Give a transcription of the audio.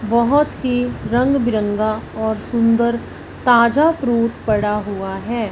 बहोत ही रंग बिरंगा और सुंदर ताजा फ्रूट पड़ा हुआ है।